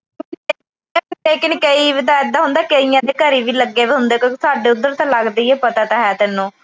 ਕਈ ਵਾਰ ਇਦਾਂ ਹੁੰਦਾ, ਕਈਆਂ ਦੇ ਘਰੇ ਵੀ ਲੱਗੇ ਹੁੰਦੇ। ਸਾਡੇ ਉਧਰ ਤਾਂ ਲੱਗਦੇ ਈ ਆ, ਪਤਾ ਤਾਂ ਹੈ ਤੈਨੂੰ।